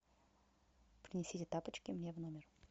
принесите тапочки мне в номер